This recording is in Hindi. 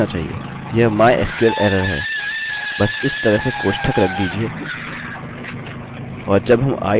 यह mysql error है बस इस तरह से कोष्ठक रख दीजिये और जब हम i dont exist को रखते हुए अपना पेज रिफ्रेशrefresh करते हैं